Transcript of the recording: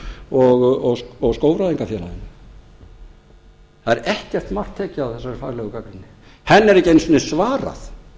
og skógfræðingafélaginu það er ekkert mark tekið á þessari faglegu gagnrýni henni er ekki einu sinni svarað